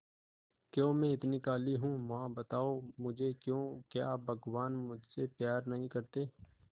क्यों मैं इतनी काली हूं मां बताओ मुझे क्यों क्या भगवान मुझसे प्यार नहीं करते